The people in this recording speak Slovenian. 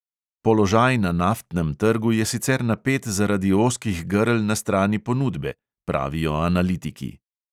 "Položaj na naftnem trgu je sicer napet zaradi ozkih grl na strani ponudbe," pravijo analitiki.